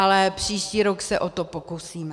Ale příští rok se o to pokusíme.